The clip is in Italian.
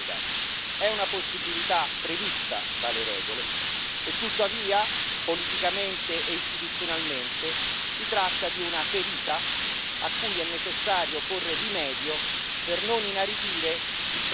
e tuttavia, politicamente e istituzionalmente, si tratta di una ferita cui è necessario porre rimedio per non inaridire il processo di costruzione di una vera democrazia europea.